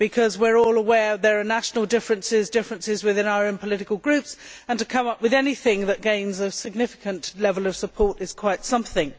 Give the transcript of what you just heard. We are all aware there are national differences, as well as differences within our own political groups, and to come up with anything that gains a significant level of support is quite something.